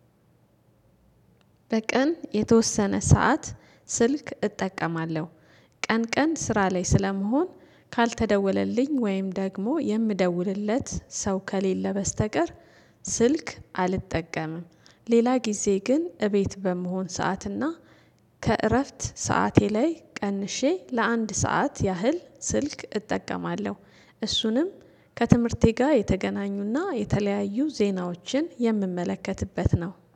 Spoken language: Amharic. በቀን የተወሰነ ሰዓት ስልክ እጠቀማለሁ ቀን ቀን ስራ ላይ ስለመሆን ካልተደወለልኝ ወይም ደግሞ የምደውልለት ሰው ከሌለ በስተቀር ስልክ አልጠቀምም። ሌላ ጊዜ ግን እቤት በመሆን ሰዓትና ከእረፍት ሰዓቴ ላይ ቀንሼ ለአንድ ሰዓት ያህል ስልክ እጠቀማለሁ። እሱንም ከትምህርቴ ጋር የተገናኙና የተለያዩ ዜናዎችን የምመለከትበት ነው